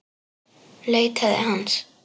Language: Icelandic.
Leitaði hans.